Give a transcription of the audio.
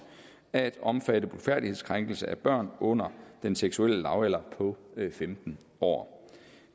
at omfatte blufærdighedskrænkelse af børn under den seksuelle lavalder på femten år